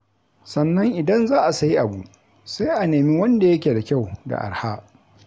Sannan idan za a sayi abu, sai a nemi wanda yake da kyau da arha.